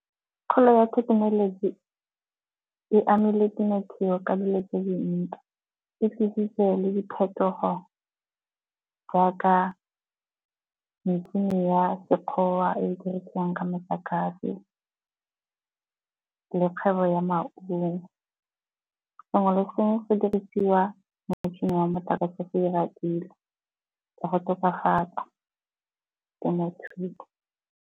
Kgolo ya thekenoloji e amile temothuo ka dilo tse dintsi, e tlisitse le diphetogo jaaka metšhini ya sekgowa e e dirisiwang ka metlakase le kgwebo ya maungo. Sengwe le sengwe se dirisiwa motšhini wa motlakase ka go tokafatsa temothuo.